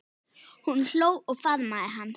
Hún hló og faðmaði hann.